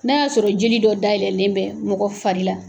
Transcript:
N'a y'a sɔrɔ joli dɔ dayɛlɛlen bɛ mɔgɔ fari la,